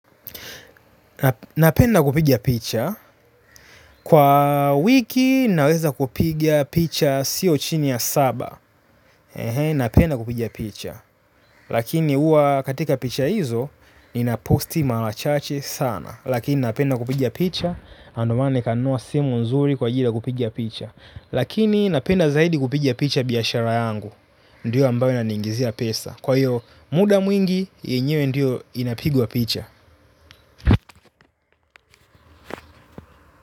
Napenda kupiga picha. Kwa wiki naweza kupiga picha sio chini ya saba. Napenda kupiga picha. Lakini huwa katika picha hizo ninaposti mara chache sana. Lakini napenda kupiga picha ndio maana nikanunua simu nzuri kwa ajili ya kupiga picha. Lakini napenda zaidi kupiga picha biashara yangu. Ndiyo ambayo inaniingizia pesa. Kwa hiyo muda mwingi yenyewe ndiyo inapigwa picha.